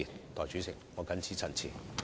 代理主席，我謹此陳辭。